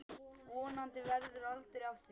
Vonandi verður aldrei af því.